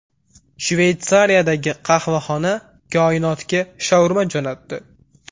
Shveysariyadagi qahvaxona koinotga shaurma jo‘natdi .